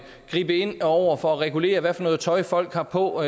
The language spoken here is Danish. gribe ind over for at regulere hvilket tøj folk har på